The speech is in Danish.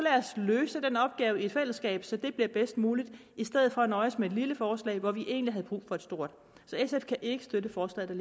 løse den opgave i fællesskab så det bliver bedst muligt i stedet for at nøjes med et lille forslag hvor vi egentlig havde brug for et stort så sf kan ikke støtte forslaget